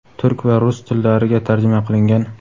turk va rus tillariga tarjima qilingan.